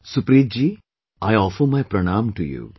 Supreet ji I offer my Pranam to you